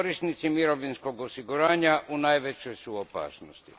Korisnici mirovinskog osiguranja u najvećoj su opasnosti.